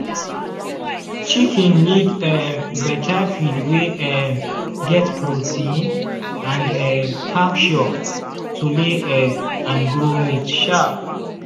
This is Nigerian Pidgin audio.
chicken need um better feed wey um get protein and um calcium to lay egg and grow meat sharp.